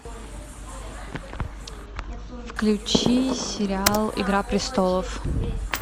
включи сериал игра престолов